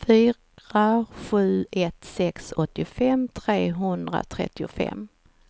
fyra sju ett sex åttiofem trehundratrettiofem